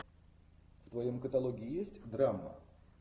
в твоем каталоге есть драма